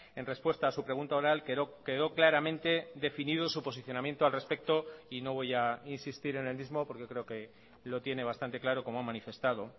en respuesta a su pregunta oral quedó claramente definido su posicionamiento al respecto y no voy a insistir en el mismo porque creo que lo tiene bastante claro como ha manifestado